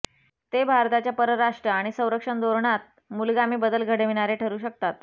ते भारताच्या परराष्ट्र आणि संरक्षण धोरणात मूलगामी बदल घडविणारे ठरू शकतात